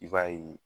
I b'a ye